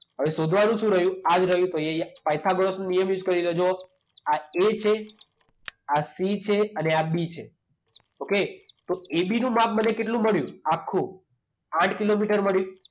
હવે શોધવાનું શું રહ્યું? આ જ રહયું. તો એ પાયથાગોરસનો નિયમ યુઝ કરી લેજો. આ એ છે, આ સી છે અને આ બી છે. ઓકે? તો એબીનું માપ મને કેટલું મળ્યું આખું? આઠ કિલોમીટર મળ્યું.